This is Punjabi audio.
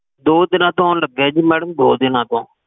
ਦੋ ਦਿਨਾ ਤੋ ਆਉਣ ਲਗੇ ਜੀ madam ਦੋ ਦਿਨਾ ਤੋ